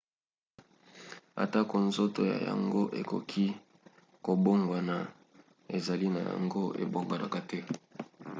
atako nzoto na yango ekoki kobongwana ezaleli na yango ebongwanaka te